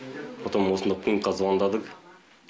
потом осында пунктқа звондадық